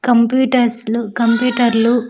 కంప్యూటర్స్లు కంప్యూటర్లు .